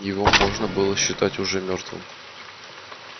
его можно было считать уже мёртвым